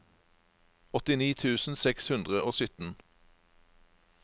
åttini tusen seks hundre og sytten